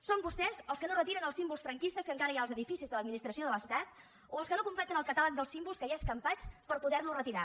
són vostès els que no retiren els símbols franquistes que encara hi ha als edificis de l’administració de l’estat o els que no completen el catàleg dels símbols que hi ha escampats per poder los retirar